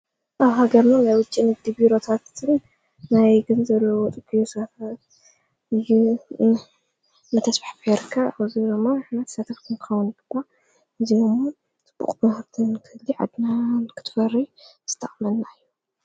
ኣብ ሃገርኒ ናይ ውጭን እዲቢሮታትትን ናይ ገን ዘለወጥ ገሰፈ ዩ መተስብሕ ፍርካ ኣዙሮማ ኣሕነት ሰተፍኩንካውን ግባ እዙሙን ትቡቕ ምናሃብተን ክሊ ዕድናን ክትፈሪ ስተቕመልና ዩ::